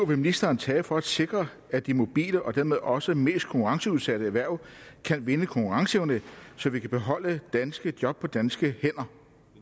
vil ministeren tage for at sikre at de mobile og dermed også mest konkurrenceudsatte erhverv kan vinde konkurrenceevne så vi kan beholde danske job på danske hænder